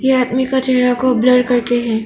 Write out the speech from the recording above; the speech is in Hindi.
आदमी के हैं।